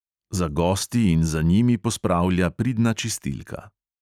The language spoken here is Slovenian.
Za gosti in za njimi pospravlja pridna čistilka.